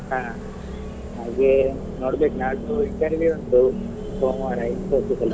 ಹಾ ಹಾಗೆ ನೋಡ್ಬೇಕು ನಾಲ್ದು interview ಉಂಟು ಸೋಮವಾರ Infosys ಅಲ್ಲಿ.